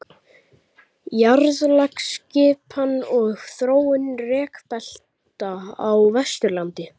Jarðlagaskipan og þróun rekbelta á Vesturlandi.